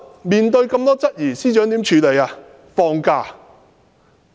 面對眾多質疑，司長如何處理呢？